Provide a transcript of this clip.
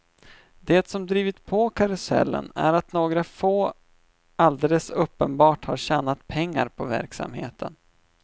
Det som drivit på karusellen är att några få alldeles uppenbart har tjänat pengar på verksamheten.